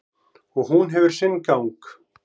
Og hún hefur sinn gang.